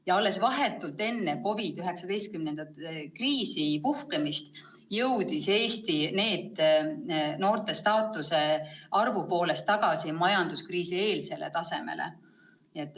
Ja alles vahetult enne COVID-19 kriisi puhkemist jõudis Eesti NEET-noorte arvu poolest tagasi majanduskriisieelsele tasemele.